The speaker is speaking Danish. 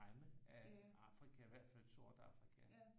Fremme af Afrika hvert fald sort Afrika